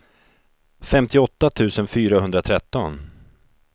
femtioåtta tusen fyrahundratretton